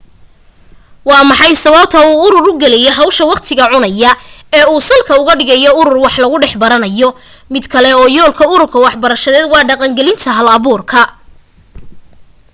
waa maxay sababta uu urur u gelayo hawsha waqtiga cunaysa ee uu salka ugu dhigayo urur wax lagu dhex baranayo mid ka mid ah yoolalka urur waxbarasheed waa dhaqangelinta halabuurka